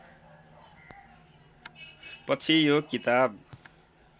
पछि यो किताब